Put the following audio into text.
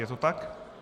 Je to tak?